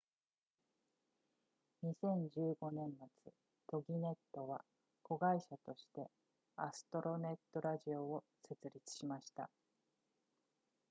2015年末 toginet は子会社としてアストロネットラジオを設立しました